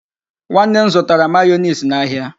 Nwanne m zụtara mayonees n'ahịa.